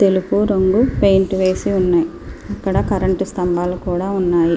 తెలుపు రంగు పెయింట్ వేసి ఉన్నాయ్. అక్కడ కరెంట్ స్తంభాలు కూడా ఉన్నాయి.